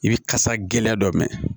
I bɛ kasa gɛlɛn dɔ mɛn